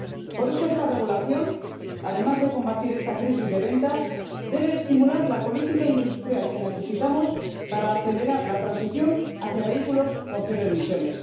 Por eso esta regulación, además de combatir esta crisis de ventas, debe estimular la política industrial que necesitamos para acelerar la transición hacia vehículos con cero emisiones.